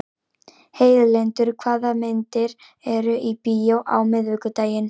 Heiðlindur, hvaða myndir eru í bíó á miðvikudaginn?